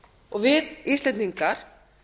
og við íslendingar